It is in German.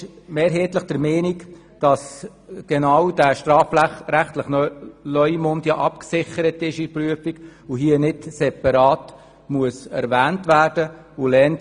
Sie ist mehrheitlich der Meinung, dass genau der strafrechtliche Leumund in der Prüfung abgesichert ist und hier nicht separat erwähnt werden muss.